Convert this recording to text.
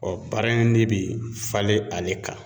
bara in de bi falen ale kan